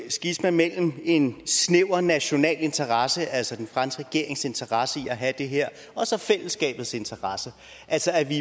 skisma mellem en snæver national interesse altså den franske regerings interesse i at have det her og så fællesskabets interesse altså at vi